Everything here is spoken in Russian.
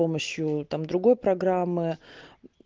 с помощью там другой программы